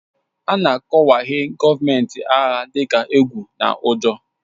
A na-akọwahie gọọmenti agha dị ka egwu na ụjọ